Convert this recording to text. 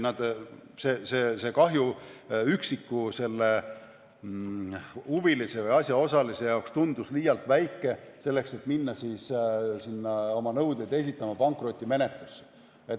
See kahju tundus üksiku huvilise või asjaosalise jaoks liialt väike selleks, et minna oma nõudeid esitama pankrotimenetlusse.